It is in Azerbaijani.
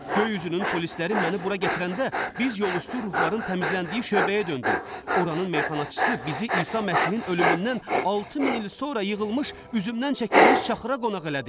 Göy üzünün polisləri məni bura gətirəndə biz yolüstü ruhların təmizləndiyi şöbəyə döndük, oranının meyxanacısı bizi İsa Məsihin ölümündən 6 min il sonra yığılmış üzümdən çəkilmiş çaxıra qonaq elədi.